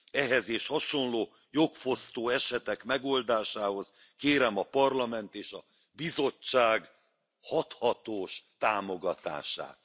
Ehhez és hasonló jogfosztó esetek megoldásához kérem a Parlament és a Bizottság hathatós támogatását.